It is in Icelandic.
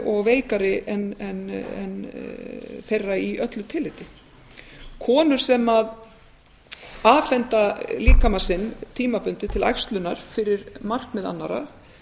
og veikari en þeirra í öllu tilliti konur sem afhenda líkama sinn tímabundið til æxlunar fyrir markmið annarra